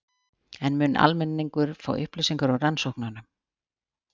En mun almenningur fá upplýsingar úr rannsóknunum?